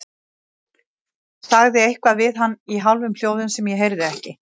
Sagði eitthvað við hann í hálfum hljóðum sem ég heyrði ekki.